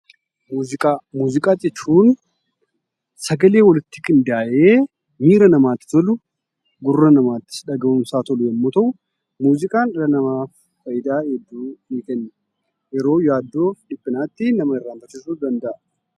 Muuziqaa jechuun sagalee walitti qindaa'ee miira namaatti tolu, gurra namaattis dhaga'uunsaa tolu yemmuu ta'u, Muuziqaan dhala namaaf faayidaa hedduu ni kenna. Yeroo yaaddoofi dhiphinaatti nama irraanfachiisuu ni danda'a.